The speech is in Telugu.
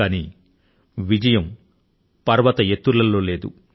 అయితే విజయం పర్వత ఎత్తుల లో లేదు